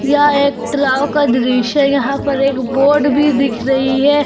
यह एक तलाव का दृश्य है यहां पर एक बोट भी दिख रही है।